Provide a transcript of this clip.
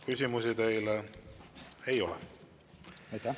Küsimusi teile ei ole.